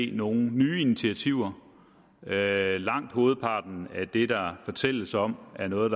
er nogle nye initiativer langt hovedparten af det der fortælles om er noget